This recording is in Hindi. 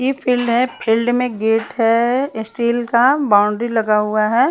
ये फील्ड हैं फील्ड में गेट हैं स्टील का बाउंड्री लगा हुआ हैं।